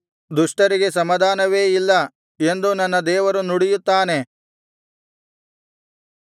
ದುಷ್ಟರಿಗೆ ಸಮಾಧಾನವೇ ಇಲ್ಲ ಎಂದು ನನ್ನ ದೇವರು ನುಡಿಯುತ್ತಾನೆ